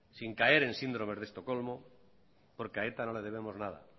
sin caer en síndrome de estocolmo porque a eta no le debemos nada